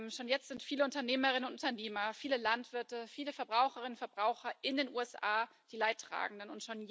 Schon jetzt sind viele Unternehmerinnen und Unternehmer, viele Landwirte, viele Verbraucherinnen und Verbraucher in den USA die Leidtragenden.